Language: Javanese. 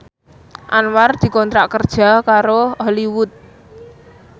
Anwar dikontrak kerja karo Hollywood